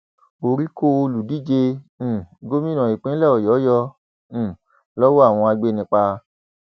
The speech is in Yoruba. orí kọ olùdíje um gómìnà ìpínlẹ ọyọ yọ um lọwọ àwọn agbanipa